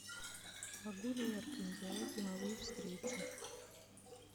могу ли я организовать деловую встречу